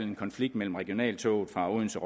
en konflikt mellem regionaltoget fra odense